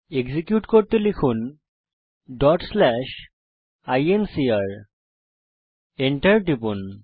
execute করতে লিখুনincr Enter টিপুন